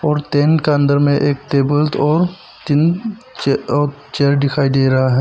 और टीन का अंदर में एक टेबल और तीन औ चेयर दिखाई दे रहा है।